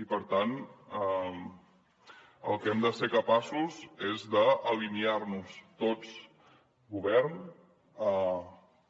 i per tant del que hem de ser capaços és d’alinear nos tots govern